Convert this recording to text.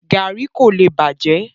Garri ko le bajẹ.